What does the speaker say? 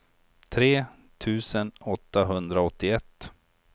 tre tusen åttahundraåttioett